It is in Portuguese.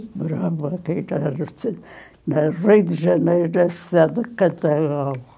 Moravam aqui, no Rio de Janeiro, na cidade de